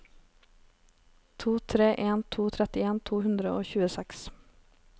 to tre en to trettien to hundre og tjueseks